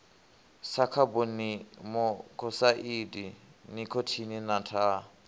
sa khabonimokosaidi nikhotini na thaa